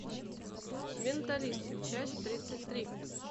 менталист часть тридцать три